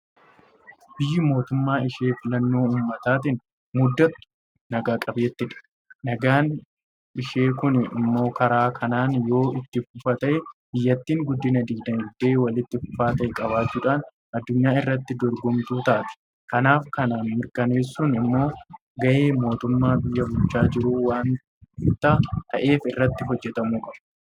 Biyyi mootummaa ishee filannoo uummataatiin muuddattu naga qabeettiidha. Nagaan ishee kun immoo karaa kanaan yoo itti fufa ta'e; Biyyattiin guddina diinagdee walitti fufaa ta'e qabaachuudhaan addunyaa irratti dorgomtuu taati. Kanaaf kana mirkaneessuun immoo gahee mootummaa biyya bulchaa jiruu waanta ta'eef irratti hojjetamuu qaba.